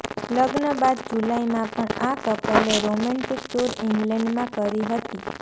લગ્ન બાદ જુલાઈમાં પણ આ કપલે રોમેન્ટિક ટુર ઈંગ્લેન્ડમાં કરી હતી